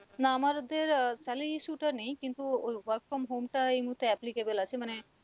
না আমাদের আহ salary issue টা নেই কিন্তু ওই work from home টা এই মুহর্তে applicable আছে মানে